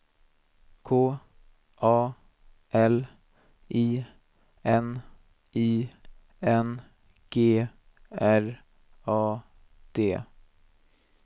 K A L I N I N G R A D